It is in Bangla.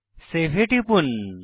সেভ এ টিপি